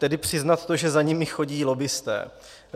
Tedy přiznat to, že za nimi chodí lobbisté.